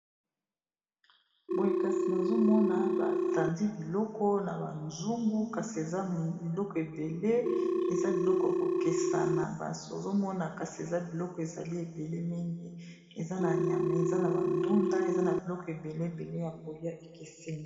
Boye kasi nazomona batandi biloko na ba nzungu kasi eza biloko ebele eza biloko ya kokesa na basi ozomona kasi eza biloko ezali ebele mingi yameza na bandunda eza na biloko ebele ebele ya kolia ekesenyi.